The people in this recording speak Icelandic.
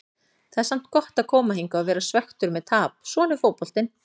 Það er samt gott að koma hingað og vera svekktur með tap, svona er fótboltinn.